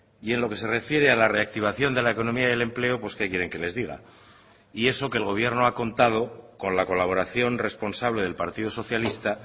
y en lo que se refiere a la reactivación de la economía y el empleo pues qué quieren que les diga y eso que el gobierno ha contado con la colaboración responsable del partido socialista